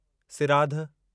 सिराधु